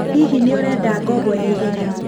Hihi nĩ ũrenda ngombo ya ihenya?